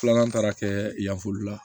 Filanan taara kɛ yanfolila